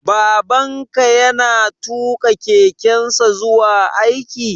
Baban ka ya na tuƙa kekensa zuwa aiki?